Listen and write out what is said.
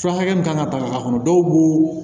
Fura hakɛ min kan ka ta a kɔnɔ dɔw b'o